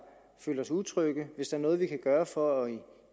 føler sig utrygge hvis der er noget vi kan gøre for at